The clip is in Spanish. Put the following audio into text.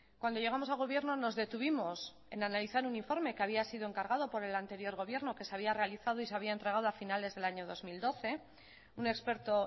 cuando llegamos al gobierno nos detuvimos en analizar un informe que había sido encargado por el anterior gobierno que se había realizado y se había entregado a finales del año dos mil doce un experto